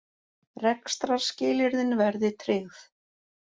Rekstrarskilyrðin verði tryggð